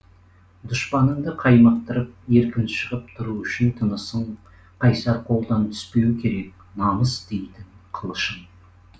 дұшпаныңды қаймықтырып еркін шығып тұру үшін тынысың қайсар қолдан түспеу керек намыс дейтін қылышың